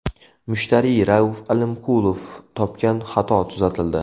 Mushtariy Rauf Alimkulov topgan xato tuzatildi.